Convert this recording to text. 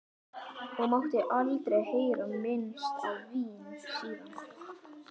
Og mátti aldrei heyra minnst á vín síðan.